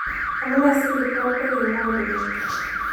Amunee si kiprop kokiimwoog' kibet